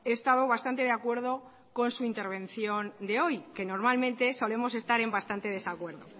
estado bastante de acuerdo con su intervención de hoy que normalmente solemos estar en bastante desacuerdo